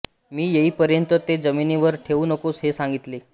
मी येईपर्यंत ते जमिनीवर ठेवू नकोस हे सांगितले